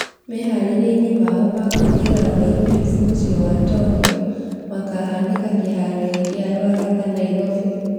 Meharĩriani mao makũingĩra olympics mũciĩ wa Tokyo , makĩhanĩka kĩharo gia ruaraka nairobĩ